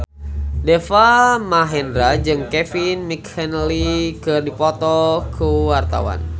Deva Mahendra jeung Kevin McNally keur dipoto ku wartawan